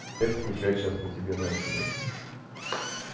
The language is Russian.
я скучать сейчас по тебе начну